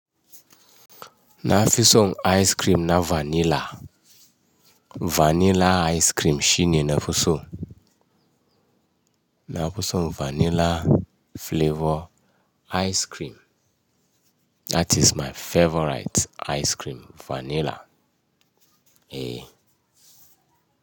Na fi son ice cream na vanilla. Vanilla ice cream shine na fi so. Na fi so vanilla flavor ice cream. That is my favorite ice cream, vanilla, eh.